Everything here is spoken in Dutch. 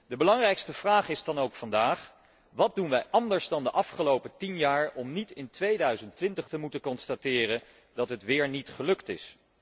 De belangrijkste vraag is dan ook vandaag wat doen wij anders dan de afgelopen tien jaar om niet in 2020 te moeten constateren dat het wéér niet gelukt is?